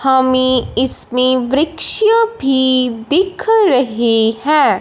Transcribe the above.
हमें इसमें में वृक्ष भी दिख रही है।